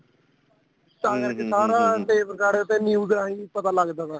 ਤਾਂ ਕਰਕੇ ਸਾਰਾ tape recorder ਤੇ news ਏਵੈ ਪਤਾ ਲੱਗਦਾ ਤਾ